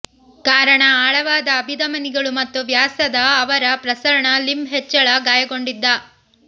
ಕಾರಣ ಆಳವಾದ ಅಭಿಧಮನಿಗಳು ಮತ್ತು ವ್ಯಾಸದ ಅವರ ಪ್ರಸರಣ ಲಿಂಬ್ ಹೆಚ್ಚಳ ಗಾಯಗೊಂಡಿದ್ದ